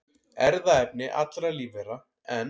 Erfðaefni allra lífvera, en